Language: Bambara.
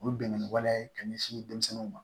U bɛ bɛn ni waleya ye ka ɲɛsin denmisɛnninw ma